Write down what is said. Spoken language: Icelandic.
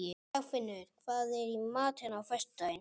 Dagfinnur, hvað er í matinn á föstudaginn?